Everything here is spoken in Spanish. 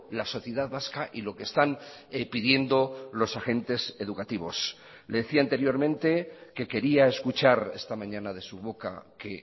la sociedad vasca y lo que están pidiendo los agentes educativos decía anteriormente que quería escuchar esta mañana de su boca que